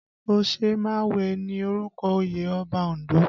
Osemawe ni orúkọ oyè Ọba Ondo